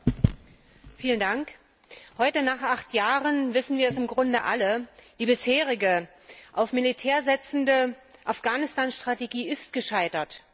Frau Präsidentin! Heute nach acht Jahren wissen wir es im Grunde alle Die bisherige auf das Militär setzende Afghanistan Strategie ist gescheitert.